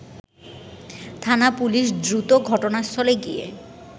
থানা পুলিশ দ্রুতঘটনাস্থলে গিয়ে